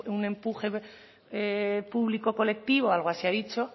un empuje público colectivo algo así ha dicho